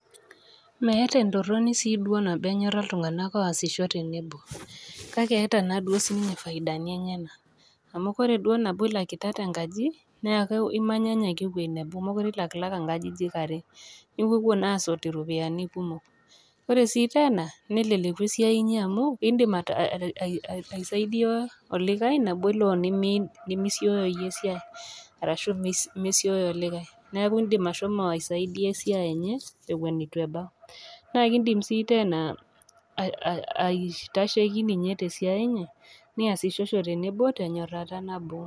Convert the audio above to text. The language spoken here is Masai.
Meeta entoroni sii duo nabo enyora iltung'ana oasisho tenebo, kake eeta naaduo siininye faidani enyena, amu ore duo nabo ilakitata enkaji, neaku imanyanya ake ewei nabo mekure ilakilaka inkajijik are, niwuowuo naa asotu iropiani kumok, ore sii teena, neleleku esiai inyi amu indim asaidia olikai nabo elo nimisio iyie esiai ashu mesio olikai neaku indim ashomo asaidia esiai enye ewen eton eitu ebau, nake indim sii teena aitasheki ninye te siai enye niasishosho tenebo tenyorata nabo.